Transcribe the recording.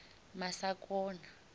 masakona